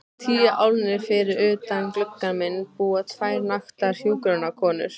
Tíu álnir fyrir utan gluggann minn búa tvær naktar hjúkrunarkonur.